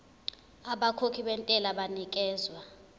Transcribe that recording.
abakhokhi bentela banikezwa